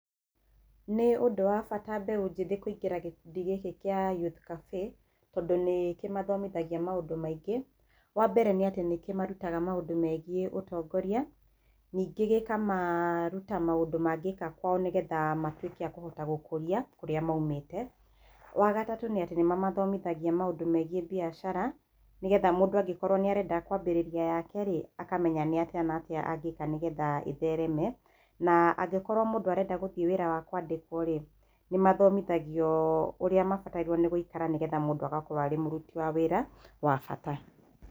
Nĩ ũndũ wa bata mbeũ njĩthĩ kũingĩra gĩkundi gĩkĩ gĩa youth cafe tondũ nĩkĩ mathomothagia maũndũ maingĩ, wa mbere nĩatĩ nĩkĩ marutaga maũndũ megie ũtongoria ningĩ gĩkamaruta maũndũ mangĩka kwao nĩgetha matuĩke a kũhota gũkũria kũrĩa maumĩte ,wagatatũ nĩ atĩ nĩ mamathomothagia maũndũ megie biacara nĩgetha mũndũ angĩkorwo nĩ arenda kwambĩrĩria rĩ akamenya nĩ atĩa na atĩa angĩka nĩgetha ĩthereme na angĩkorwo mũndũ arenda gũthiĩ wĩra wa kwandĩkwo rĩ nĩ mathomithagio ũrĩa mabatairwo nĩ gũikara nĩgetha mũndũ agakorwo arĩ mũruti wa wĩra wa bata